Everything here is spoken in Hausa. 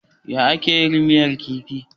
Yaya ake yin miyar kifi.